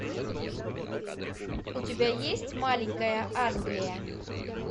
у тебя есть маленькая англия